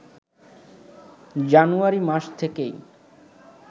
জানুয়ারি মাস থেকেই